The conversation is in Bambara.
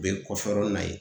U be kɔfɛ yɔrɔni na yen